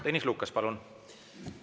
Tõnis Lukas, palun!